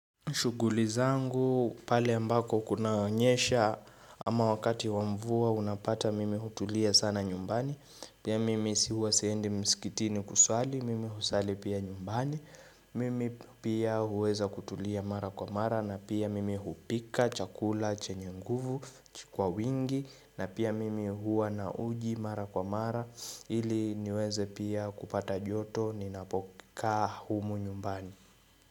Shughuli zangu pale ambako kunaonyesha ama wakati wa mvua unapata mimi hutulia sana nyumbani Pia mimi huwa siende msikitini kusali mimi husali pia nyumbani Mimi pia huweza kutulia mara kwa mara na pia mimi hupika chakula chenye nguvu kwa wingi na pia mimi huwa na uji mara kwa mara ili niweze pia kupata joto ninapokaa humu nyumbani.